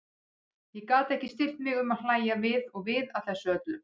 Og ég gat ekki stillt mig um að hlægja við og við að þessu öllu.